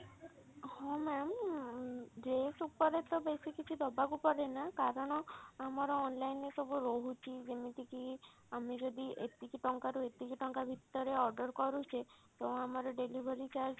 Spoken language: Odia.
ହଁ ma'am ଉଁ dress ଉପରେ ତ ବେଶି କିଛି ଦବାକୁ ପଡେନା କାରଣ ଆମର online ରେ ରେ ସବୁ ରହୁଛି ଯେମତି କି ଆମେ ଯଦି ଏତିକି ଟଙ୍କା ରୁ ଏତିକି ଟଙ୍କା ଭିତରେ order କରୁଛେ ତ ଆମର delivery charge